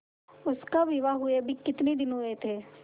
उसका विवाह हुए अभी कितने दिन हुए थे